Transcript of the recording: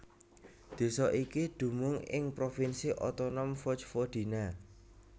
Désa iki dumunung ing provinsi otonom Vojvodina